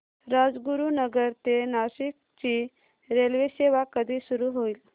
राजगुरूनगर ते नाशिक ची रेल्वेसेवा कधी सुरू होईल